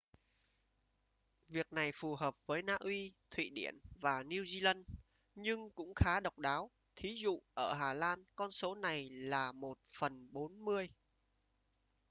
việc này phù hợp với na uy thụy điển và new zealand nhưng cũng khá độc đáo thí dụ: ở hà lan con số này là một phần bốn mươi